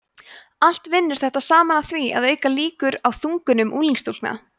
allt vinnur þetta saman að því að auka líkur á þungunum unglingsstúlkna